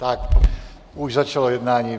Tak, už začalo jednání.